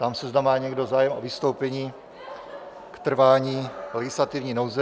Ptám se, zda má někdo zájem o vystoupení k trvání legislativní nouze.